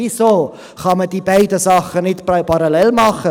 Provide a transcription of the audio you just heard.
Weshalb kann man diese beiden Dinge nicht parallel tun?